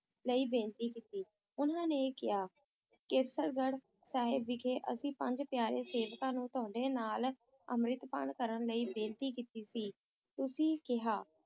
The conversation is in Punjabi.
ਲਈ ਬੇਨਤੀ ਕੀਤੀ, ਉਨ੍ਹਾਂ ਨੇ ਕਿਹਾ, ਕੇਸਗੜ੍ਹ ਸਾਹਿਬ ਵਿਖੇ ਅਸੀਂ ਪੰਜ ਪਿਆਰੇ ਸੇਵਕਾਂ ਨੂੰ ਤੁਹਾਡੇ ਨਾਲ ਅੰਮ੍ਰਿਤਪਾਨ ਕਰਨ ਲਈ ਬੇਨਤੀ ਕੀਤੀ ਸੀ, ਤੁਸੀਂ ਕਿਹਾ